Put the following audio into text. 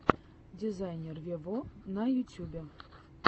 дизайнер вево на ютюбе